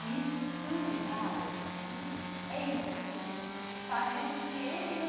E isso é tão legal, porque é isso, assim, parece que ele não...